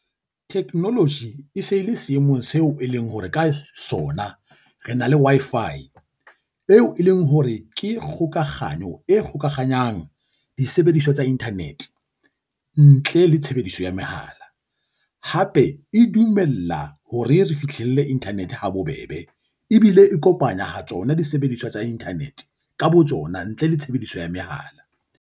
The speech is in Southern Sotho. Technology e se le seemong seo e leng hore ka sona re na le Wi-Fi, eo e leng hore ke kgokaganyo e gokahanyang disebediswa tsa internet, ntle le tshebediso ya mehala. Hape e dumella hore re fihlelle internet ha bobebe ebile e kopanya ha tsona disebediswa tsa internet ka botsona ntle le tshebediso ya mehala.